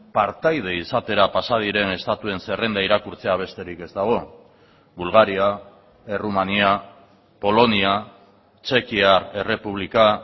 partaide izatera pasa diren estatuen zerrenda irakurtzea besterik ez dago bulgaria errumania polonia txekiar errepublika